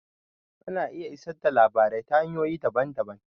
Ana iya isar da labarai ta hanyoyi daban-daban.